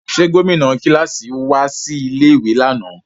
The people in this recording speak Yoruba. Ṣe gomina kilasi wa si ilé ìwé lánà?